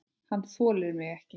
Hann þolir mig ekki.